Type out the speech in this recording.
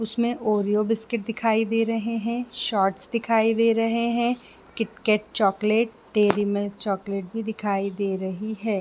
इसमें Oreo biscuit दिखाई दे रहे है शॉर्ट्स दिखाई दे रहे है KitKat chocolate Dairy Milk chocolate भी दिखाई दे रहे है।